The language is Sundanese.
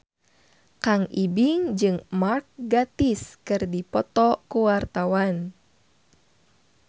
Kang Ibing jeung Mark Gatiss keur dipoto ku wartawan